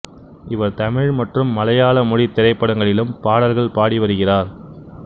இவர் தமிழ் மற்றும் மலையாள மொழி திரைப்படங்களிலும் பாடல்கள் பாடி வருகிறார்